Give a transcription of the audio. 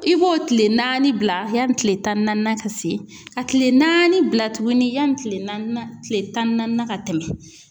I b'o kile naani bila yanni kile tan ni naani ka se, ka kile naani bila tuguni yanni kile naani nan tile tan ni naani ka tɛmɛ.